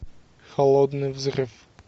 холодный взрыв